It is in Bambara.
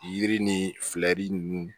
Yiri ni fɛlɛ ninnu